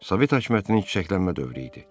Sovet hakimiyyətinin çiçəklənmə dövrü idi.